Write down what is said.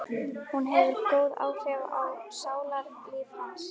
Hún hefur góð áhrif á sálarlíf hans.